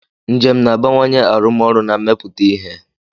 Njem na-abawanye arụmọrụ na mmepụta ihe.